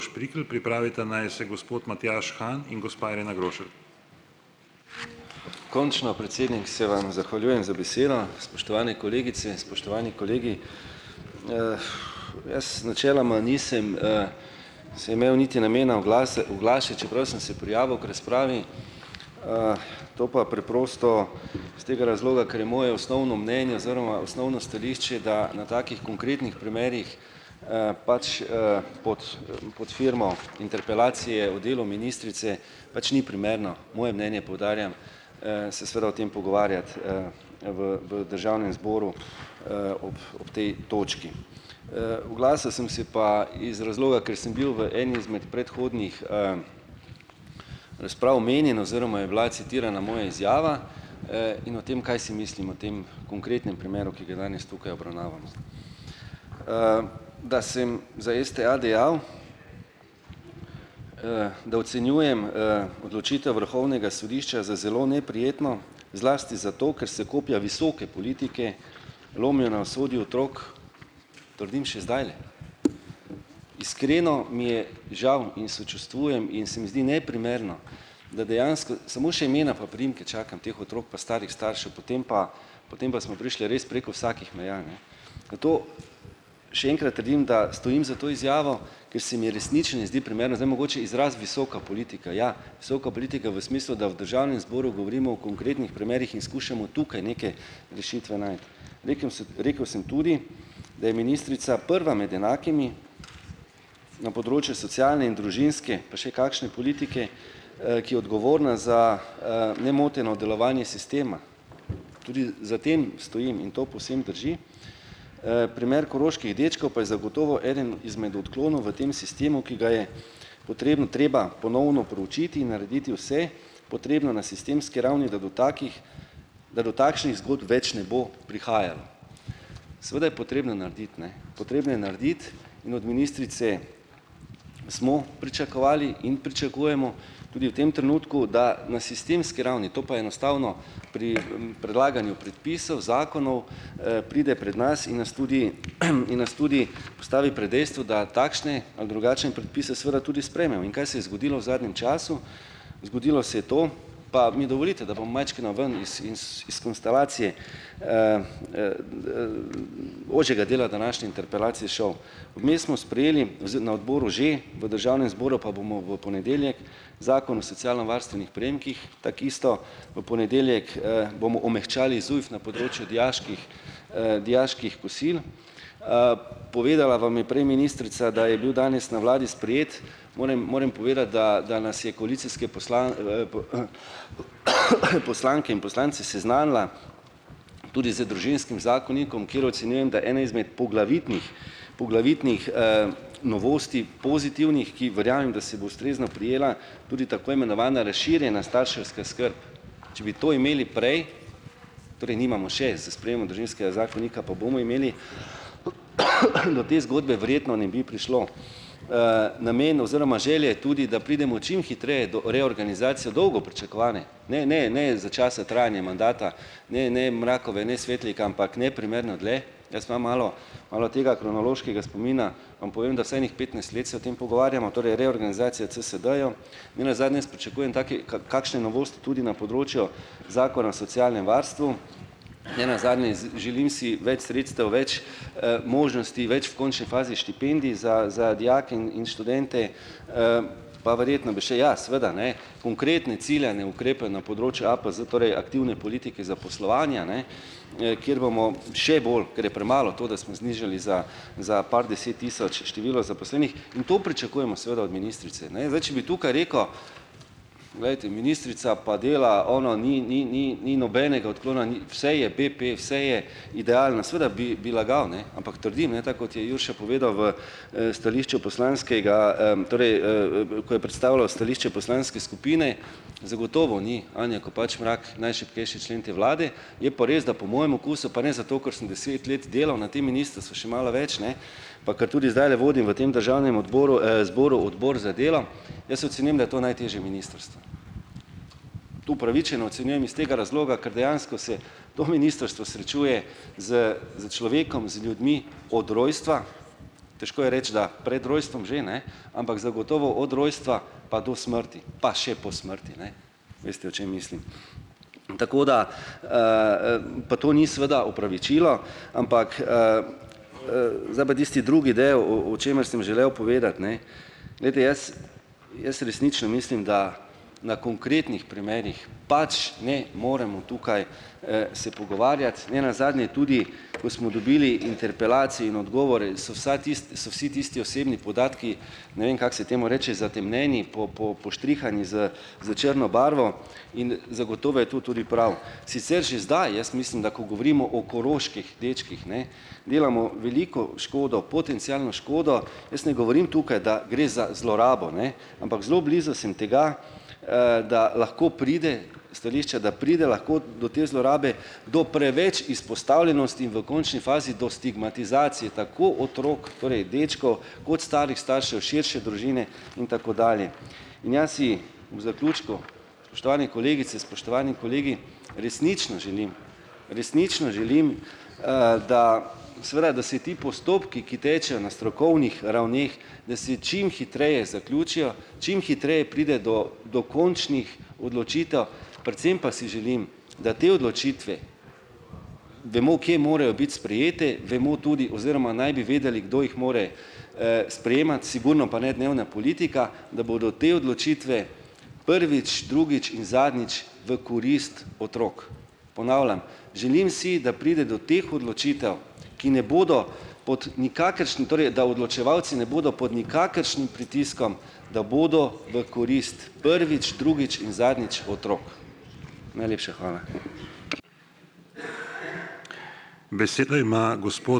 Končno, predsednik, se vam zahvaljujem za besedo, spoštovane kolegice, spoštovani kolegi. Jaz načeloma nisem, se imel niti namena oglašati, čeprav sem se prijavil k razpravi, to pa preprosto s tega razloga, ker je moje osnovno mnenje oziroma osnovno stališče, da na takih konkretnih primerih, pač, pod firmo interpelacije o delu ministrice pač ni primerno, moje mnenje, poudarjam, se seveda o tem pogovarjati, v v državnem zboru, ob ob tej točki. Oglasil sem se pa iz razloga, ker sem bil v eni izmed predhodnih, razprav omenjen oziroma je bila citirana moja izjava, in o tem, kaj si mislim o tem konkretnem primeru, ki ga danes tukaj obravnavamo. Da sem za STA dejal, da ocenjujem, odločitev Vrhovnega sodišča za zelo neprijetno, zlasti zato, ker se kopja visoke politike lomijo na usodi otrok, trdim še zdajle. Iskreno mi je žal in sočustvujem in se mi zdi neprimerno, da dejansko samo še imena pa priimke čakam teh otrok pa starih staršev potem pa, potem pa smo prišli res preko vsakih meja, ne. Še enkrat trdim, da stojim za to izjavo, ke se mi resnično ne zdi primerno, zdaj mogoče izraz visoka politika, ja, visoka politika v smislu, da v državnem zboru govorimo o konkretnih premerih in skušamo tukaj neke rešitve najti. Rekel sem tudi, da je ministrica prva med enakimi na področju socialne in družinske pa še kakšne politike, ki je odgovorna za, nemoteno delovanje sistema. Tudi za tem stojim in to povsem drži. Primer koroških dečkov pa je zagotovo eden izmed odklonov v tem sistemu, ki ga je treba ponovno proučiti in narediti vse potrebno na sistemski ravni, da do takih, da do takšnih zgodb več ne bo prihajalo. Seveda je potrebno narediti, ne, potrebne je narediti, in od ministrice smo pričakovali in pričakujemo tudi v tem trenutku, da na sistemski ravni, to pa je enostavno pri, predlaganju predpisov zakonov, pride pred nas in nas tudi, in nas tudi postavi pred dejstvo, da takšne ali drugače predpise seveda tudi. In kaj se je zgodilo v zadnjem času? Zgodilo se je to, pa mi dovolite, da bom majčkeno ven iz iz iz konstelacije ožjega dela današnje interpelacije šel, mi smo sprejeli na odboru že v državnem zboru pa bomo v ponedeljek. Zakon o socialnovarstvenih prejemkih, tako isto v ponedeljek, bomo omehčali ZUJF na področju dijaških, dijaških kosil. Povedala vam je prej ministrica, da je bil danes na vladi sprejet. Moram moram povedati, da da nas je koalicijske poslanke in poslance seznanila tudi z družinskim zakonikom, kjer ocenjujem, da ena izmed poglavitnih, poglavitnih, novosti pozitivnih, ki ustrezno prijela, tudi tako imenovana razširjena starševska skrb. Če bi to imeli prej, torej nimamo še zakonika, pa bomo imeli, do te zgodbe verjetno ne bi prišlo. Namen oziroma želje tudi, da pridemo čim hitreje do reorganizacije dolgo pričakovane, ne, ne, ne, za časa trajanja mandata, ne ne Mrakove, ne Svetlik, ampak neprimerno dlje. Jaz imam malo, malo tega kronološkega spomina. Am povem, da vsaj ene petnajst let se o tem pogovarjamo, torej reorganizacija CSD-jev. Nenazadnje jaz pričakujem taki kakšne novosti tudi na področju Zakona o socialnem varstvu. Nenazadnje želim si več sredstev, več, možnosti, več v končni fazi štipendij za za dijake in in študente, pa verjetno bi še, ja seveda, ne, konkretne ciljane ukrepe na področju APZ, torej aktivne politike zaposlovanja, ne, kjer bomo še bolj, ker je premalo to, da smo znižali za za par deset tisoč število zaposlenih, in to pričakujemo seveda od ministrice, ne, zdaj, če bi tukaj rekel, glejte, ministrica pa dela ono, ni ni ni ni nobenega odklona ni, vse je BP, vse je idealno, seveda bi bi lagal, ne, ampak trdim, ne, tako kot je Jurša povedal v, stališču poslanskega, torej ko je predstavljal stališče poslanske skupine, zagotovo ni Anja Kopač Mrak najšibkejši člen te vlade, je pa res, da po mojem okusu, pa ne zato, ker sem deset let delal na tem, še malo več ne, pa kar tudi zdajle vodim v tem državnem odboru, zboru odbor za delo, jaz ocenim, da to najtežje ministrstvo. Tu upravičeno ocenjujem iz tega razloga, ker dejansko se to ministrstvo srečuje s s človekom, z ljudmi od rojstva. Težko je reči, da pred rojstvom že, ne. Ampak zagotovo od rojstva pa do smrti, pa še po smrti, ne. Veste, o čem mislim. Tako da, pa to ni seveda opravičilo, ampak, Drugi del, o o čemer sem želel povedati, ne. Glejte, jaz jaz resnično mislim, da na konkretnih primerih pač ne moremo tukaj, se pogovarjati nenazadnje tudi, ko smo dobili interpelacijo in odgovore, so vsa so vsi tisti osebni podatki, ne vem, kako se temu reče, zatemnjeni, poštrihani s s črno barvo in, zagotovo je to tudi prav. Sicer že zdaj jaz mislim, da ko govorimo o koroških dečkih, ne, delamo veliko škodo, potencialno škodo. Jaz ne govorim tukaj, da gre za zlorabo, ne. Ampak zelo blizu sem tega, da lahko pride stališče, da pride lahko do te zlorabe do preveč izpostavljenosti in v končni fazi do stigmatizacij, tako otrok, torej dečkov, kot starih staršev, širše družine in tako dalje. In jaz si v zaključku, spoštovani kolegice, spoštovani kolegi, resnično želim, resnično želim, da seveda, da se ti postopki, ki tečejo na strokovnih ravneh, da se čim hitreje zaključijo, čim hitreje pride do do končnih odločitev, predvsem pa si želim, da te odločitve, vemo, kje morajo biti sprejete, vemo tudi oziroma naj bi vedeli, kdo jih mora, sprejemati, sigurno pa ne dnevna politika, da bodo te odločitve prvič, drugič in zadnjič v korist otrok. Ponavljam, želim si, da pride do teh odločitev, ki ne bodo pod, torej da odločevalci ne bodo pod nikakršnim pritiskom, da bodo v korist prvič, drugič in zadnjič otrok. Najlepša hvala.